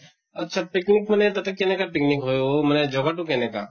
আচ্ছা picnic মানে তাতে কেনেকে picnic হয় অ মানে জগাটো কেনেকা?